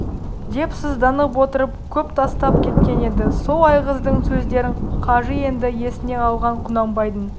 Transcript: деп сызданып отырып көп тастап кеткен еді сол айғыздың сөздерін қажы енді есіне алған құнанбайдың